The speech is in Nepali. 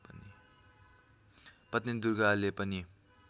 पत्नी दुर्गाले पनि